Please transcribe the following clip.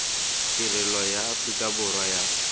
tirelo ya aforika borwa ya